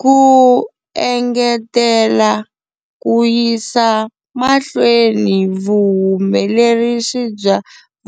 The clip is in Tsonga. Ku engetela ku yisa mahlweni vuhumelerisi bya